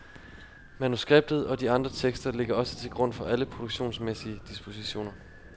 Manuskriptet og de andre tekster ligger også til grund for alle produktionsmæssige dispositioner.